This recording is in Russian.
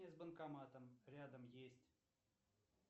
с банкоматом рядом есть